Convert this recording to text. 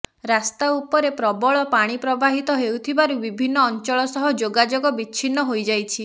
ରାସ୍ତା ଉପରେ ପ୍ରବଳ ପାଣି ପ୍ରବାହିତ ହେଉଥିବାରୁ ବିଭିନ୍ନ ଅଞ୍ଚଳ ସହ ଯୋଗାଯୋଗ ବିଚ୍ଛିନ୍ନ ହୋଇଯାଇଛି